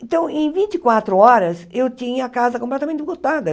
Então, em vinte e quatro horas, eu tinha a casa completamente.